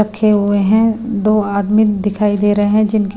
रखे हुए हैं दो आदमी दिखाई दे रहे हैं जिनके--